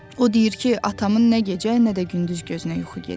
O deyir ki, atamın nə gecə, nə də gündüz gözünə yuxu gedir.